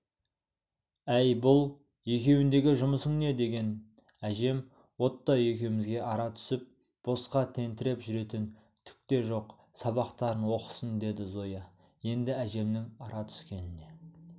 әй бұл екеуіндегі жұмысың не деген әжем отто екеумізге ара түсіп босқа тентіреп жүретін түк те жоқ сабақтарын оқысын деді зоя енді әжемнің ара түскеніне